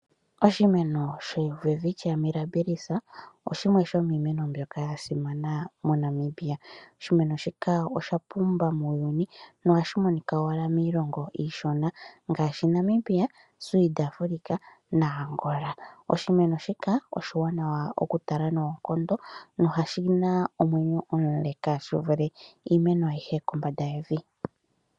Oshimeno shoWelwitchia Mirabis oshimwe shomiimeno mbyoka yasimana moNamibia. Oshimeno shika oshapumba muuyuni nohashi monika owala miilongo iishona ngaashi, Namibia, South Africa naAngola. Oshimeno shika oshiwanawa okutala noonkondo noshina omwenyo omule shivule iimeno ayihe kombanda yevi.